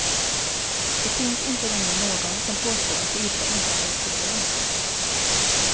Det finns inte längre någon som påstår att yta inte är ett problem.